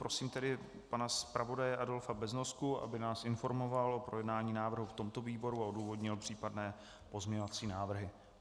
Prosím tedy pana zpravodaje Adolfa Beznosku, aby nás informoval o projednání návrhu v tomto výboru a odůvodnil případné pozměňovací návrhy.